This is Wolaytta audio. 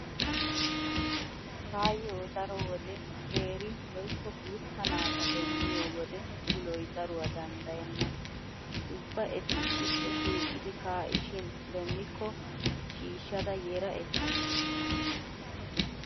Taayyo daro wode qeeri woykko guutta naata demmiyo wode uloy daruwaa danddayenna. Ubba eti issippe shiiqidi kaa'ishin demmikko shiishshada yera ekkays.